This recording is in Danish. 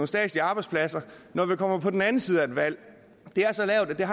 statslige arbejdspladser når vi kommer på den anden side af et valg er så lavt at jeg